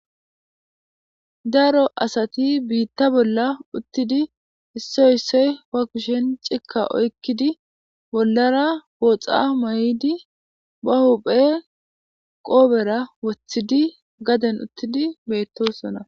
Daro asati biitta bolla uttidi issoy issoy fa kushen cikka oykkidi bollara booxa may7di ba huphe qoobera wothidi gaden uttidi beettosona